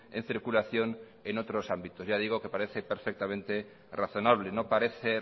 en circulación en otros ámbitos ya digo que parece perfectamente razonable no parece